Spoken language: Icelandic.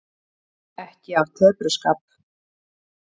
Ekki af tepruskap.